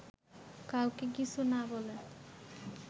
কাউকে কিছু না বলে